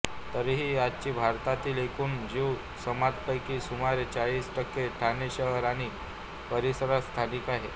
तरीही आजही भारतातील एकूण ज्यू समाजापैकी सुमारे चाळीस टक्के ठाणे शहर आणि परिसरात स्थायिक आहे